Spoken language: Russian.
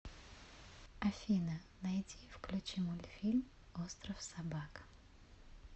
афина найди и включи мультфильм остров собак